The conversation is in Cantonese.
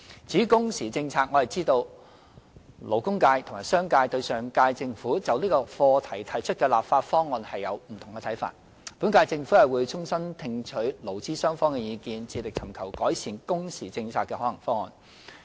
至於工時政策，我知道勞工界和商界對上屆政府就這項課題提出的立法方案有不同看法，本屆政府會衷心聽取勞資雙方的意見，致力尋求改善工時政策的可行方案。